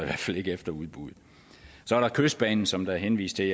efter udbuddet så er der kystbanen som der er henvist til